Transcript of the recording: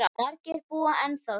Margir búa ennþá þar.